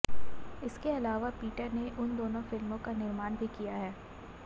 इसके अलावा पीटर ने उन दोनों फिल्मों का निर्माण भी किया है